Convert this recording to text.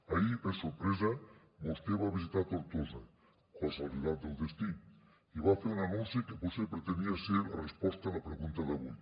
ahir per sorpresa vostè va visitar tortosa casualitats del destí i va fer un anunci que potser pretenia ser la resposta a la pregunta d’avui